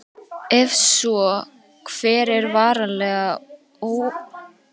Ef svo, hver er varanleg örorka?